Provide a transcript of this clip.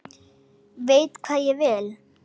Veit hvað ég vil.